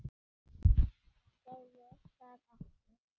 Segðu það ekki